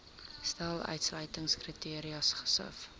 stel uitsluitingskriteria gesif